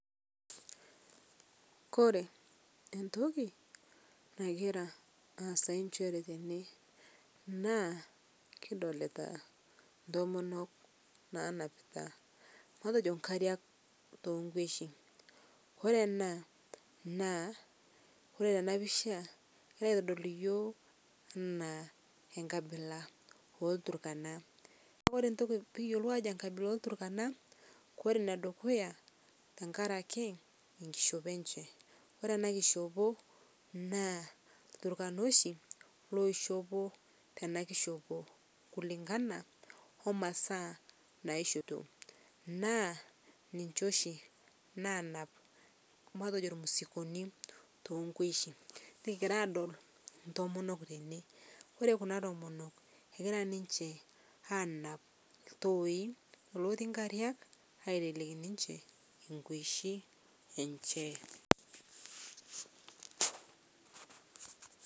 Kore entokii nagiraa aasayu enshere tene naa kidolitaa ntomonok naanapita matejo nkariak to nkweshi kore ena naa kore tana pichaa neitodol yooh ena enkabila olturkana, kore ntoki pikiyolou ajo nkabila elturkana kore nedukuya tankarakee nkishopoo enche kore ana kichopo na lturkana oshi loishopo tana kishopo kulingana omasaa nashoito naa ninshe oshi nanap matejo mzikonii tonkweshii nikigiraa adol ntomonok tenee. Kore Kuna tomonok egiraa ninshe anap ltooi lotii nkariak aiteleki ninshe nkweshi enshe.